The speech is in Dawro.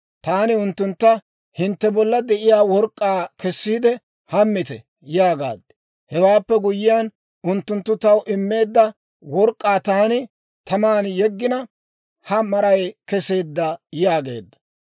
Taani unttuntta, ‹Hintte bolla de'iyaa work'k'aa kessiide, hammite› yaagaad. Hewaappe guyyiyaan unttunttu taw immeedda work'k'aa taani taman yeggina, ha maray keseedda» yaageedda.